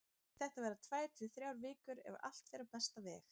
Þetta verða tvær til þrjár vikur ef allt fer á besta veg.